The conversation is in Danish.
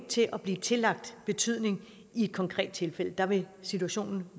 til at blive tillagt betydning i et konkret tilfælde der vil situationen